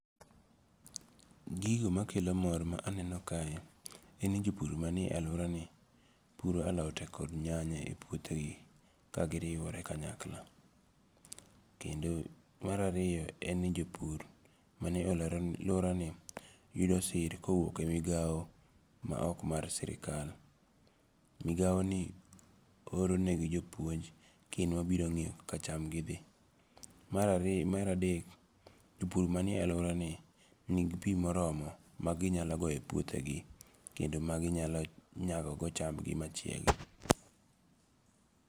Gigo makelo mor ma aneno kae, en ni jopur manie aluorani puro alote kod nyanya e puothegi, kendi giriwore kanyakla, kendo marariyo en ni jopur mane aluorani yudo sir kowuoke migao maok mar sirikal, migao ni oronegi jopuonj kendo mabirongi'yo kaka chamgi thi, marariyo maradek japur manie aluorani nigi pi moromo ma ginyalo goye puothegi kendo maginyalo gogo chamgi machiegi.